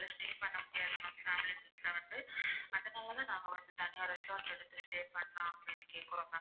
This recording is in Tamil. அதனால தான் நாங்க வந்து தனியா restaurant எடுத்து stay பண்ணலாம் அப்படினு கேக்கறோம் ma'am.